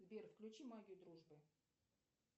сбер включи магию дружбы